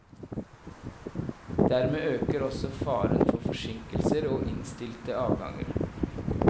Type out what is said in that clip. Dermed øker også faren for forsinkelser og innstilte avganger.